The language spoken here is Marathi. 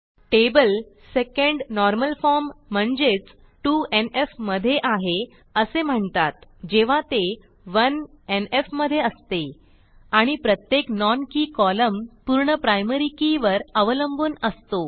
टेबल सेकंड नॉर्मल फॉर्म म्हणजेच 2एनएफ मधे आहे असे म्हणतात जेव्हा ते 1एनएफ मधे असते आणि प्रत्येक non के कॉलम पूर्ण प्रायमरी के वर अवलंबून असतो